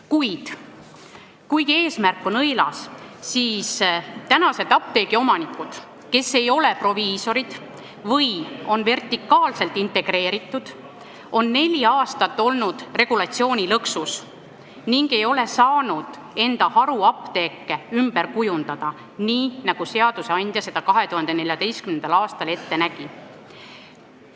Kuid kuigi eesmärk on üllas, siis tänased apteegiomanikud, kes ei ole proviisorid või on vertikaalselt integreeritud, on neli aastat olnud regulatsioonilõksus ega ole saanud enda haruapteeke ümber kujundada nii, nagu seadusandja seda 2014. aastal ette nägi.